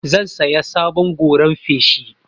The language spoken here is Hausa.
Zan saya sabon goran feshi.